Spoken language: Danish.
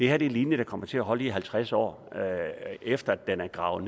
er en linje der kommer til at holde i halvtreds år efter at den er gravet